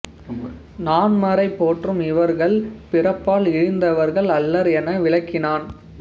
நான்மறை போற்றும் இவர்கள் பிறப்பால் இழிந்தவர் அல்லர் என விளக்கினான்